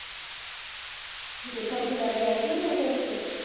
ਤੁਸੀ ਪੇਠਾ ਪੁਠਾ ਲੈਕੇ ਆਏ ਕੇ ਨਹੀਂ ਲੈਕੇ ਆਏ ਕਿਤੇ